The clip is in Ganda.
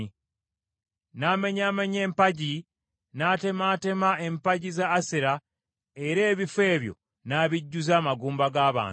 N’amenyaamenya empagi, n’atemaatema empagi za Asera era ebifo ebyo n’abijjuza amagumba g’abantu.